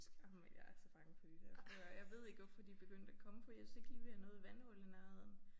Ej men jeg er så bange for de der frøer jeg ved ikke hvorfor de begyndt at komme fordi jeg synes ikke lige vi har noget vandhul i nærheden